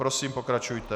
Prosím, pokračujte.